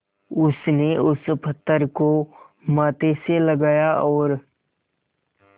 उसने उस पत्थर को माथे से लगाया और